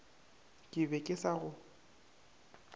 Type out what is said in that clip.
ke be ke sa go